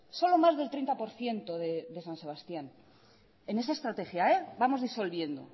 solo más del treinta por ciento de san sebastián en esa estrategia vamos disolviendo